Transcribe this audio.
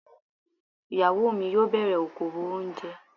Ìyàwó mi yóò bẹ̀rẹ̀ okowò oúnjẹ.